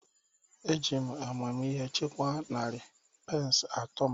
Eji m amamihe chekwaa narị pence atọ m